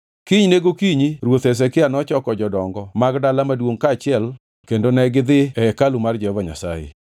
Kinyne gokinyi ruoth Hezekia nochoko jodongo mag dala maduongʼ kaachiel kendo negidhi e hekalu mar Jehova Nyasaye.